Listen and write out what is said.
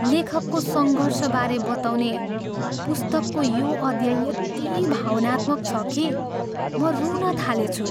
लेखकको सङ्घर्षबारे बताउने पुस्तकको यो अध्याय यति भावनात्मक छ कि म रुन थालेछु।